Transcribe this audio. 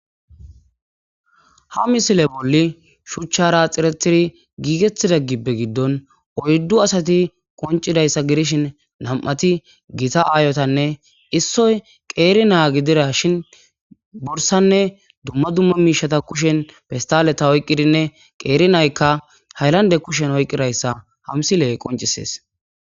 Ha misile bolli shuchchara xiretiri giigettida gibbe giddon oyddu asati qoncidayssa gidishin nam'ati gita aayotanne issoy qeeri naa gidira shin bursanne dumma dumma miishata kushen pestaleta oyqqidinne qeeri naykka haylande kushen oyqqidayssa ha misiley qoncisees